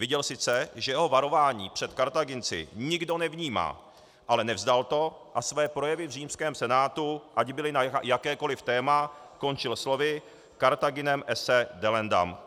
Viděl sice, že jeho varování před Kartáginci nikdo nevnímá, ale nevzdal to a své projevy v římském senátu, ať byly na jakékoliv téma, končil slovy: Carthaginem esse delendam.